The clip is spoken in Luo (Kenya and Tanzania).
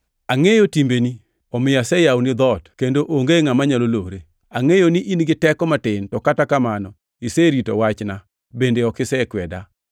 Angʼeyo timbeni. Omiyo aseyawoni dhoot kendo onge ngʼama nyalo lore. Angʼeyo ni in giteko matin to kata kamano iserito wachna bende ok isekweda.